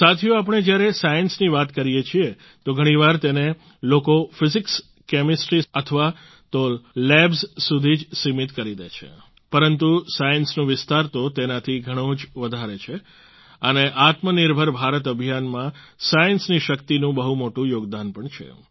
સાથીઓ જ્યારે આપણે સાયન્સની વાત કરીએ છીએ તો ઘણીવાર તેને લોકો ફિઝીક્સકેમેસ્ટ્રી અથવા તો લેબ્સ સુધી જ સીમિત કરી દે છે પરંતુ સાયન્સનો વિસ્તાર તો તેનાથી ઘણો જ વધારે છે અને આત્મનિર્ભર ભારત અભિયાનમાં સાયન્સની શક્તિનું બહુ મોટું યોગદાન પણ છે